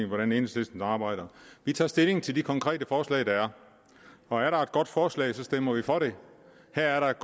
hvordan enhedslisten arbejder vi tager stilling til de konkrete forslag der er og er der et godt forslag så stemmer vi for det her er der et